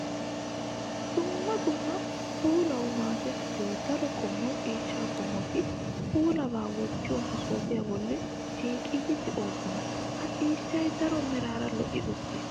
Dumma dumma puulawu maadettiyo daro qommo ciishsha qommotti puulabba wottiyo maasofiya bolla shiiqiddi de'osonna. Ha ciishshay daro merara lo'i uttiis.